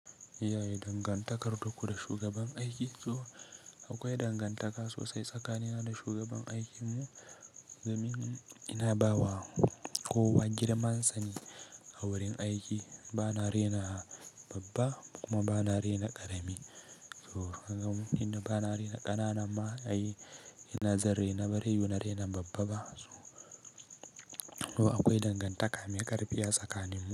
Yaya dangantakar taku da shugaban aiki? To akwai dangantaka sosai tsakanina da shugaban aikin mu. Domin ina ba wa kowa girman sane a wurin aiki. Bana rena babba kuma bana rena ƙarami. To, ni da bana rena ƙananan ma, ai ina zan rena bare yiwu na rena babba ba. To akwai dangantaka mai ƙarfi a tsakaninmu.